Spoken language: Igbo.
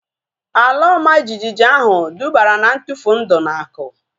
Ala ọma jijiji ahu dubara na ntufu ndụ na akụ